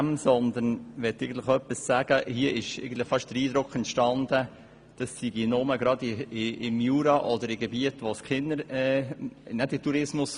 Hier ist eigentlich fast der Eindruck entstanden, es sei nur im Jura oder in nicht touristischen Gebieten so.